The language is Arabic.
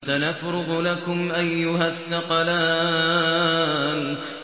سَنَفْرُغُ لَكُمْ أَيُّهَ الثَّقَلَانِ